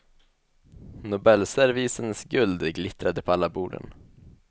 Nobelservisens guld glittrade på alla borden.